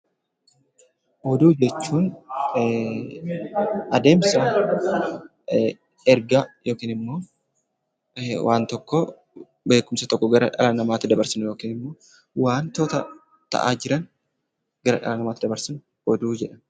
Oduu jechuun adeemsa ergaa yookin immoo waan tokkoo beekumsa tokko gara dhala namaatti dabarsinu yookin immoo waantota ta'aa jiran gara dhala namaatti dabarsinu oduu jedhama.